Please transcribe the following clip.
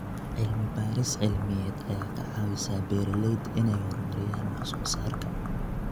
Cilmi-baaris cilmiyeed ayaa ka caawisa beeralayda inay horumariyaan wax soo saarka.